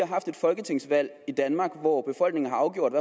haft et folketingsvalg i danmark hvor befolkningen har afgjort